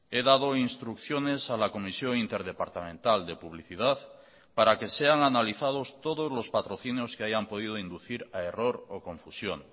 he dado instrucciones a la comisión interdepartamental de publicidad para que sean analizados todos los patrocinios que hayan podido inducir a error o confusión